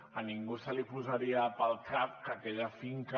a ningú li passaria pel cap que aquella finca